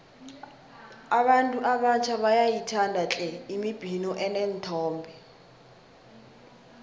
abantu abatjha bayayithanda tle imibhino eneenthombe